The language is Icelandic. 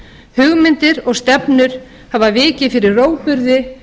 hugmyndir og stefnur hafa vikið fyrir rógburði